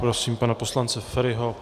Prosím pana poslance Feriho.